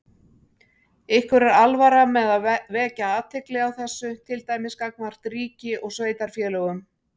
Ykkur er alvara með að vekja athygli á þessu, til dæmis gagnvart ríki og sveitarfélögum?